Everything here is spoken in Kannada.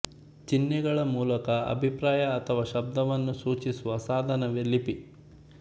ಚಿಹ್ನೆಗಳ ಮೂಲಕ ಅಭಿಪ್ರಾಯ ಅಥವಾ ಶಬ್ದವನ್ನು ಸೂಚಿಸುವ ಸಾಧನವೇ ಲಿಪಿ